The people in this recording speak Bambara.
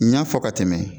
N y'a fɔ ka tɛmɛ